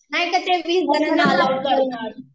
नाय का ते वीस जनांना अलाऊड आहेना